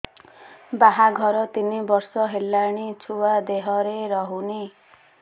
ବାହାଘର ତିନି ବର୍ଷ ହେଲାଣି ଛୁଆ ଦେହରେ ରହୁନି